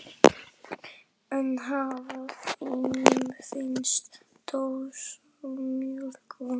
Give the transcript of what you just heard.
En afa þínum finnst dósamjólk vond.